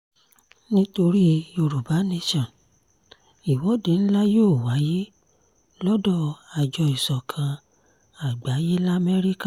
nítorí yorùbá nation ìwọ́de ńlá yóò wáyé lọ́dọ̀ àjọ ìsọ̀kan àgbáyé lamẹ́ríkà